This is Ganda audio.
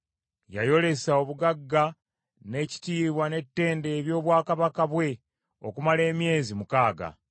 Yayolesa obugagga n’ekitiibwa n’ettendo eby’obwakabaka bwe okumala emyezi mukaaga.